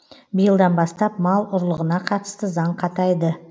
биылдан бастап мал ұрлығына қатысты заң қатайды